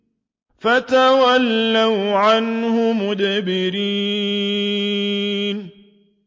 فَتَوَلَّوْا عَنْهُ مُدْبِرِينَ